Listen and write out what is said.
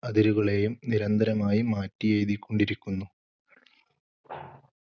അതിരുകളേയും നിരന്തരമായി മാറ്റിയെഴുതിക്കൊണ്ടിരിക്കുന്നു.